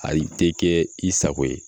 Ayi te kɛ i sago ye